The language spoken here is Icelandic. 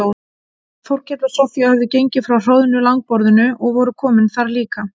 Þórkell og Soffía höfðu gengið frá hroðnu langborðinu og voru komin þar líka.